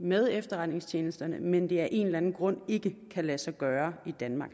med efterretningstjenesterne men at det af en eller anden grund ikke kan lade sig gøre i danmark